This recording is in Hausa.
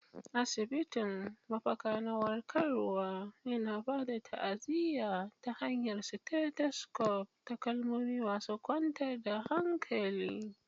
Asibitin, mafaka na warkarwa, yana ba da ta'aziyya ta hanyar stethoscopes da kalmomi masu kwantar da hankali.